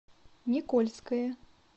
никольское